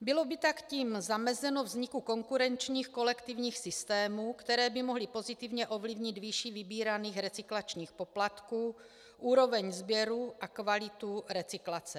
Bylo by tak tím zamezeno vzniku konkurenčních kolektivních systémů, které by mohly pozitivně ovlivnit výši vybíraných recyklačních poplatků, úroveň sběru a kvalitu recyklace.